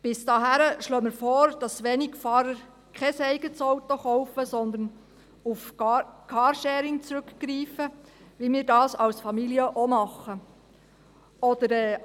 Bis dahin schlagen wir vor, dass die Wenigfahrer kein eigenes Auto kaufen, sondern auf Carsharing zurückgreifen, wie wir das als Familie auch tun.